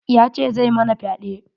Ya ce zai mana fyaɗe.